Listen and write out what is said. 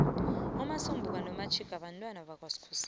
umasombuka nomatjhiga bentwana bakaskhosana